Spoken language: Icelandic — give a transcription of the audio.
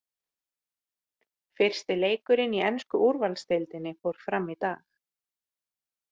Fyrsti leikurinn í ensku úrvaldsdeildinni fór fram í dag.